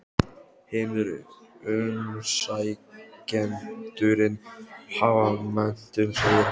Hinir umsækjendurnir hafa menntun, segir hann.